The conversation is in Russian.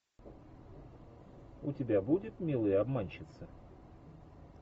у тебя будет милые обманщицы